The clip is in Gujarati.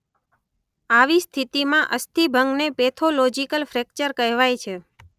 આવી સ્થિતિમાં અસ્થિભંગને પેથોલોજિકલ ફ્રેક્ચર કહેવાય છે.